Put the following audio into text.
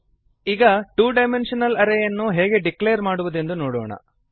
ಈಗ two dimensional array ಯನ್ನು ಹೇಗೆ ಡಿಕ್ಲೇರ್ ಮಾಡುವುದೆಂದು ನೋಡೋಣ